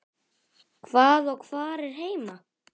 Hvað og hvar er heima?